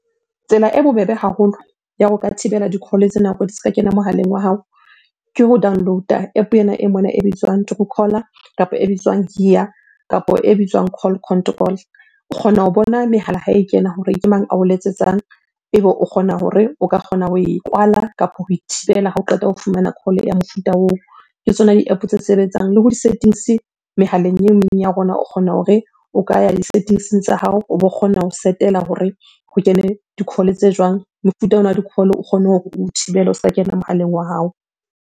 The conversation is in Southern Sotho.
Tsela e bobebe haholo ya ho ka thibela di-call-e tse nako di se ka kena mohaleng wa hao, ke ho download-a App ena e mona e bitswang true caller kapa e bitswang , kapa e bitswang call control. O kgona ho bona mehala ha e kena hore ke mang ao letsetsang? Ebe o kgona hore o ka kgona ho e kwala kapo ho e thibela ha o qeta ho fumana call ya mofuta oo. Ke tsona di-App tse sebetsang. Le ho di settings-e mehaleng ya rona, o kgona hore o ka ya di-settings-eng tsa hao o bo kgona ho set-ela hore ho kene di-call-e tse jwang? Mofuta ona wa di-call-o o kgone hore o thibele o se ka kena mohaleng wa hao.